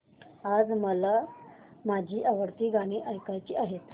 आज मला माझी आवडती गाणी ऐकायची आहेत